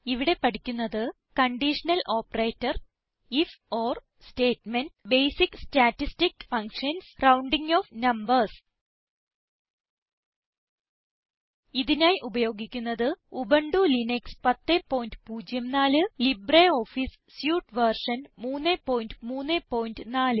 ഇവിടെ പഠിക്കുന്നത് conditional operator if or statement basic statistic functions rounding off numbers ഇതിനായി ഉപയോഗിക്കുന്നത് Ubuntu Linux 1004 LibreOffice suite version 334